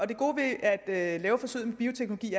det gode ved at lave dette forsøg med bioteknologi